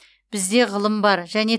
бізде ғылым бар және